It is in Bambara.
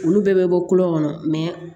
Olu bɛɛ bɛ bɔ kolon kɔnɔ